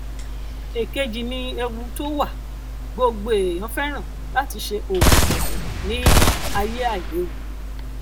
èkejì ni ewu um tó wà gbogbo ènìyàn fẹràn láti ṣe òwò ní ayé àìlèwu